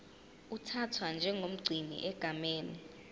uthathwa njengomgcini egameni